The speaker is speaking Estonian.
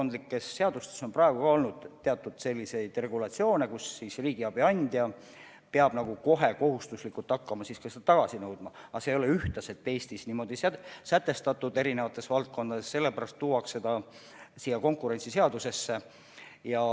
Nendes valdkondlikes seadustes on ka praegu olnud selliseid regulatsioone, mille järgi riigiabi andja peab kohe kohustuslikus korras hakkama seda tagasi nõudma, aga see ei ole veel Eestis eri valdkondades niimoodi üheselt sätestatud ja sellepärast tuuaksegi see konkurentsiseadusesse.